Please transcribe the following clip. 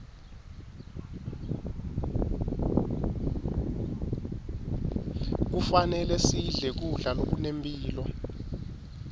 kufanele sidle kudla lokunemphilo